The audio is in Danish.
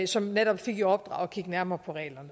som netop fik i opdrag at kigge nærmere på reglerne